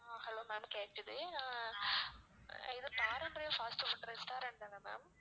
ஆஹ் hello ma'am கேட்குது ஆஹ் இது பாரம்பரியம் fast food restaurant தான ma'am